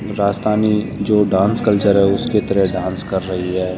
राजस्थानी जो dance culture है उसके तरह डांस कर रही है।